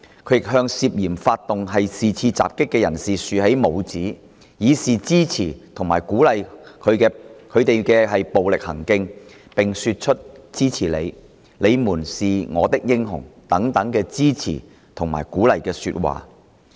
他亦向涉嫌發動是次襲擊的人士豎起拇指，以示支持及鼓勵其暴力行徑，並說出'支持你'及'你們是我的英雄'等支持和鼓勵的說話。